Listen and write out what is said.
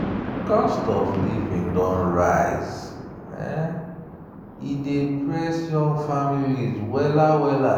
cost of living don rise e dey press young families well-well.